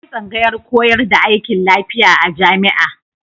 Akwai tsangayar koyar da aikin lafiya a jami'a.